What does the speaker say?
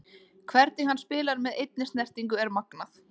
Hvernig hann spilar með einni snertingu er magnað.